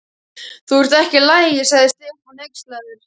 Þú ert ekki í lagi. sagði Stefán hneykslaður.